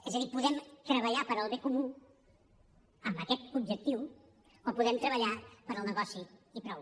és a dir podem treballar pel bé comú amb aquest objectiu o podem treballar pel negoci i prou